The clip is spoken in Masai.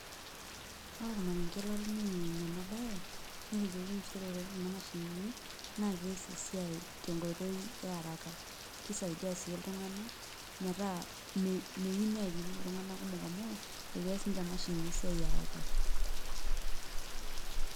Ore ormarenge latoning'o eimu enabaye netejoki nchere ore kuna mashinini naa kees esiai tenkoitoi e araka kesiaidia sii iltung'anak metaa meyieu neenyumi iltung'anak amu kees imashini esiai [csharaka.